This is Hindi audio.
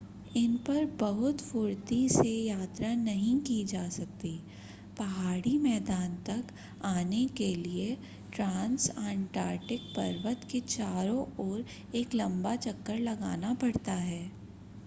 इन पर बहुत फुर्ती से यात्रा नहीं की जा सकती पहाड़ी मैदान तक आने के लिए ट्रांसअंटार्कटिक पर्वत के चारों ओर एक लंबा चक्कर लगाना पड़ता है